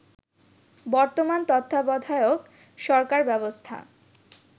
বর্তমান তত্ত্বাবধায়ক সরকারব্যবস্থা